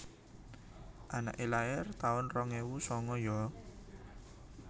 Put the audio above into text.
Anake lair taun rong ewu sanga yo